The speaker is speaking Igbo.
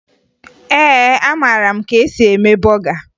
Ee, amara m ka esi eme bọga